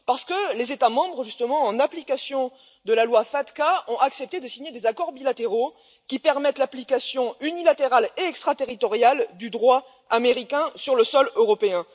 Parce que les États membres, justement, en application de la loi FATCA, ont accepté de signer des accords bilatéraux qui permettent l'application unilatérale et extraterritoriale du droit américain sur le sol européen.